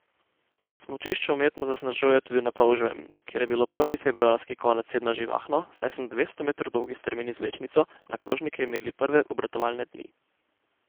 Smučišče umetno zasnežujejo tudi na Polževem, kjer je bilo prvi februarski konec tedna živahno, saj so na dvesto metrov dolgi strmini z vlečnico na krožnike imeli prve obratovalne dni.